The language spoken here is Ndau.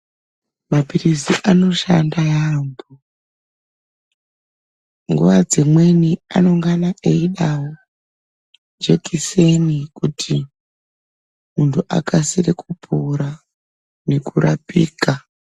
Mapirisi anoshanda yambo nguwa dzimweni anenge aidawo jekiseni kuti mundu akasire kupona nekurapika.